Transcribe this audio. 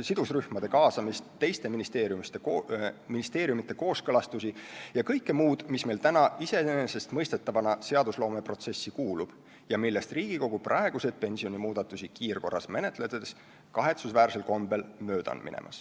sidusrühmade kaasamist, teiste ministeeriumide kooskõlastusi ja kõike muud, mis meil täna iseenesestmõistetavana seadusloomeprotsessi kuulub ning millest Riigikogu praeguseid pensionimuudatusi kiirkorras menetledes kahetsusväärsel kombel mööda läheb.